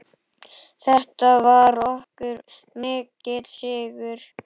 Þetta var okkur mikill sigur.